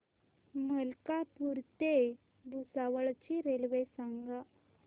मलकापूर ते भुसावळ ची रेल्वे सांगा